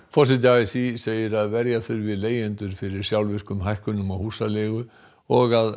forseti a s í segir að verja þurfi leigjendur fyrir sjálfvirkum hækkunum á húsaleigu og